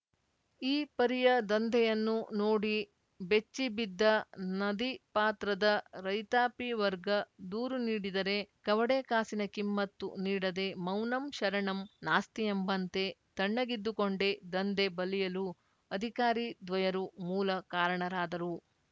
ಈ ಪರಿಯ ದಂಧೆಯನ್ನು ನೋಡಿ ಬೆಚ್ಚಿ ಬಿದ್ದ ನದಿಪಾತ್ರದ ರೈತಾಪಿ ವರ್ಗ ದೂರು ನೀಡಿದರೆ ಕವಡೆ ಕಾಸಿನ ಕಿಮ್ಮತ್ತು ನೀಡದೆ ಮೌನಂ ಶರಣಂ ನಾಸ್ತಿಯೆಂಬಂತೆ ತಣ್ಣಗಿದ್ದುಕೊಂಡೇ ದಂಧೆ ಬಲಿಯಲು ಅಧಿಕಾರಿ ದ್ವಯರು ಮೂಲ ಕಾರಣರಾದರು